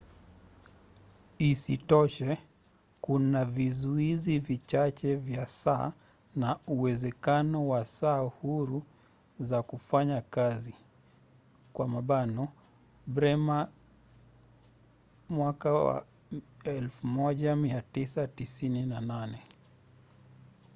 isitoshe kuna vizuizi vichache vya saa na uwezekano wa saa huru za kufanya kazi. bremer 1998